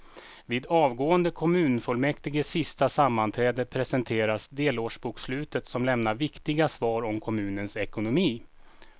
Vid avgående kommunfullmäktiges sista sammanträde presenteras delårsbokslutet som lämnar viktiga svar om kommunens ekonomi.